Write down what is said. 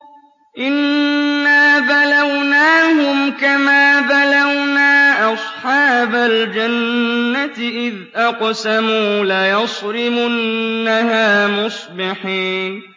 إِنَّا بَلَوْنَاهُمْ كَمَا بَلَوْنَا أَصْحَابَ الْجَنَّةِ إِذْ أَقْسَمُوا لَيَصْرِمُنَّهَا مُصْبِحِينَ